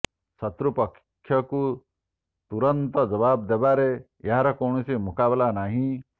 ଶତ୍ରୁ ପକ୍ଷକୁ ତୁରନ୍ତ ଜବାବ ଦେବାରେ ଏହାର କୌଣସି ମୁକାବିଲା ନାହିଁ